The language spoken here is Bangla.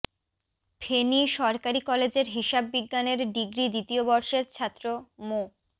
ফেনী সরকারী কলেজের হিসাব বিজ্ঞানের ডিগ্রি দ্বিতীয় বর্ষের ছাত্র মো